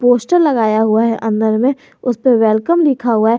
Poster लगाया हुआ है अंदर में उसपे वेलकम लिखा हुआ है।